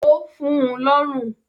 ó fun ún lọ́rùn.